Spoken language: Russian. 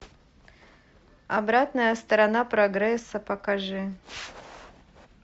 обратная сторона прогресса покажи